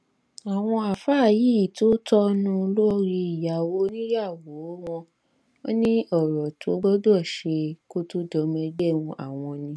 àwọn àáfàá yìí tó tọọnù lórí ìyàwó oníyàwó wọn ní ọrọ tó gbọdọ ṣe kó tóó dọmọ ẹgbẹ àwọn ni